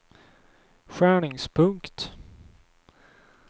skärningspunkt